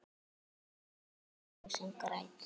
Huggast þú sem grætur.